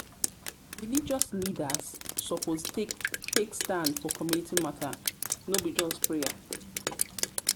leaders suppose take stand for community matter no be just prayer.